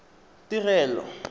tirelo